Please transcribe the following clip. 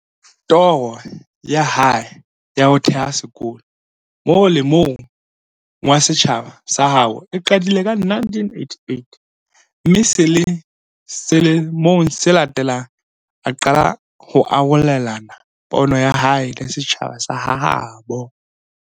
Toro ya hae ya ho theha sekolo mole mong wa setjhaba sa habo e qadile ka 1988, mme sele mong se latelang, a qala ho arolelana pono ya hae le setjhaba sa ha habo.